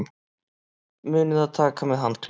Munið að taka með handklæði!